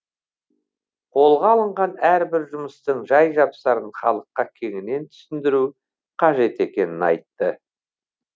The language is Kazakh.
қолға алынған әрбір жұмыстың жай жапсарын халыққа кеңінен түсіндіру қажет екенін айтты